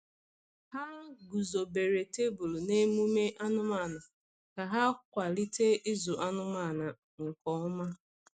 Ha guzobere tebụl na emume anụmanụ ka ha kwalite ịzụ anụmanụ nke ọma.